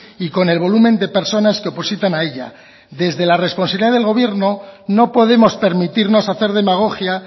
y con el volumen de personas que opositan a ella desde la responsabilidad del gobierno no podemos permitirnos hacer demagogia